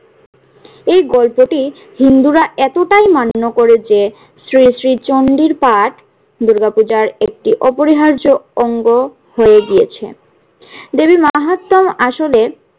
এই গল্পটি হিন্দুরা এতটাই মান্য করে যে শ্রী শ্রী চণ্ডীর পাঠ দুর্গা পূজার একটি অপরিহার্য অঙ্গ হয়ে গিয়েছে। দেবী মাহাত্ম্যম আসলে